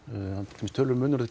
til dæmis töluverður